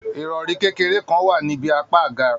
Irọri kékeré kàn wá nibi apá àga.